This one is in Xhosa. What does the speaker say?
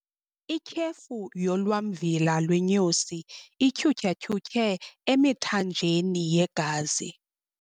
Ityhefu yolwamvila lwenyosi ityhutyhatyhutyhe emithanjeni yegazi.